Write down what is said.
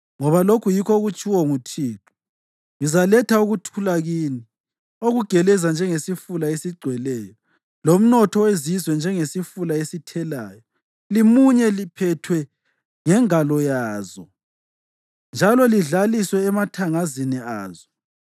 Ngoba lokhu yikho okutshiwo nguThixo: “Ngizaletha ukuthula kini okugeleza njengesifula esigcweleyo lomnotho wezizwe njengesifula esithelayo, limunye liphethwe ngengalo yazo njalo lidlaliswe emathangazini azo.